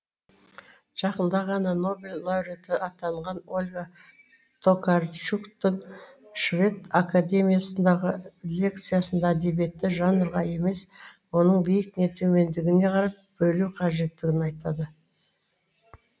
жақында ғана нобель лауреаты атанған ольга токарчуктың швед академиясындағы лекциясында әдебиетті жанрға емес оның биік не төмендігіне қарап бөлу қажеттігін айтады